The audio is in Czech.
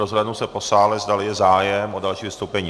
Rozhlédnu se po sále, zdali je zájem o další vystoupení.